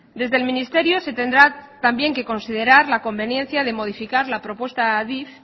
desde el ministerio se tendrá también que considerar la conveniencia de modificar la propuesta de adif